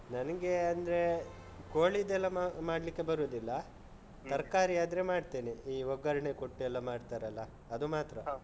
ನನಿಗೆ ಅಂದ್ರೆ ಕೋಳಿದೆಲ್ಲ ಮಾಡ್ಲಿಕ್ಕೆ ಬರುದಿಲ್ಲ. ತರ್ಕಾರಿ ಆದ್ರೆ ಮಾಡ್ತೇನೆ. ಈ ಒಗ್ಗರಣೆ ಕೊಟ್ಟೆಲ್ಲ ಮಾಡ್ತಾರಲ್ಲಾ? ಅದು ಮಾತ್ರ.